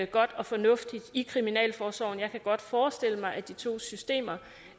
godt og fornuftigt i kriminalforsorgen jeg kan godt forestille mig at de to systemer